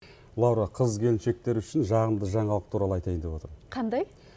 лаура қыз келіншектер үшін жағымды жаңалық туралы айтайын деп отырмын қандай